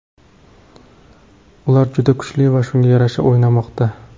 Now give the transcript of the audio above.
Ular juda kuchli va shunga yarasha o‘ynamoqda.